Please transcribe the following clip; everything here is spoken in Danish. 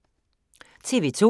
TV 2